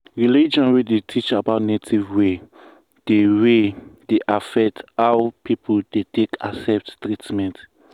religion wey dey teach about native way dey way dey affect how people take accept treatment.